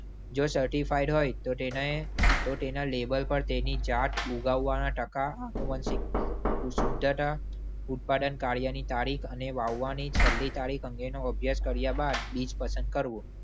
જો certified હોય તો તેને તો તેના label પર તેની જાત ઉગાવવાના ટકા ઉત્પાદન કાર્યની તારીખ અને વાવવાની છેલ્લી તારીખ અંગેનો અભ્યાસ કર્યા બાદ બીજ પસંદ કરવું.